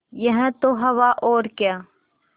यह तो हवा और क्या